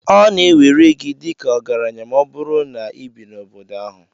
A na-ewere gị dị ka ọgaranya ma ọ bụrụ na ị bi n'obodo ahụ.